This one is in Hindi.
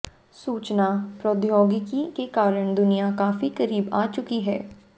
सूचना प्रौद्योगिकी के कारण दुनिया काफी करीब आ चुकी है